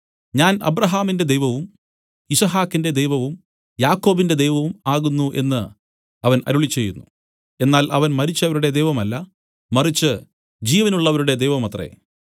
ഞാൻ അബ്രാഹാമിന്റെ ദൈവവും യിസ്ഹാക്കിന്റെ ദൈവവും യാക്കോബിന്റെ ദൈവവും ആകുന്നു എന്നു അവൻ അരുളിച്ചെയ്യുന്നു എന്നാൽ അവൻ മരിച്ചവരുടെ ദൈവമല്ല മറിച്ച് ജീവനുള്ളവരുടെ ദൈവമത്രേ